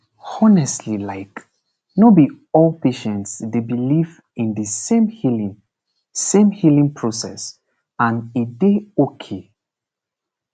honestly like no be all patients dey believe in de same healing same healing process and e dey okay